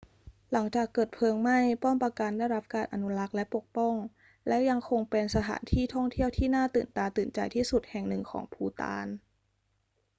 หลังจากเกิดเพลิงไหม้ ป้อมปราการได้รับการอนุรักษ์และปกป้อง และยังคงเป็นสถานที่ท่องเที่ยวที่น่าตื่นตาตื่นใจที่สุดแห่งหนึ่งของภูฏาน